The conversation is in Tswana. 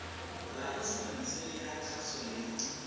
laesense e ya kgaso ya